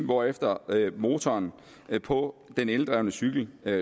hvorefter motoren på den eldrevne cykel